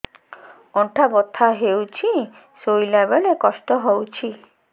ଅଣ୍ଟା ବଥା ହଉଛି ଶୋଇଲା ବେଳେ କଷ୍ଟ ହଉଛି